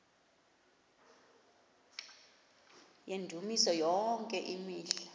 yendumiso yonke imihla